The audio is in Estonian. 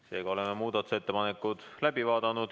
Seega oleme muudatusettepanekud läbi vaadanud.